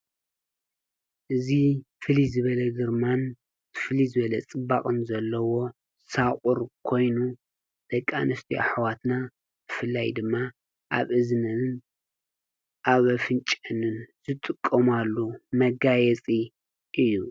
እዙ ፍሊ ዝበለ ግርማን ፍሊዝበለ ጽባቕን ዘለዎ ሳቝር ኮይኑ ደቃንስቱ ኣኅዋትና ፍላይ ድማ ኣብ እዝነንን ኣብ ኣፍንጨንን ዝጥቆማሉ መጋየፂ እዩ።